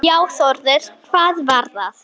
Já Þórður, hvað var það?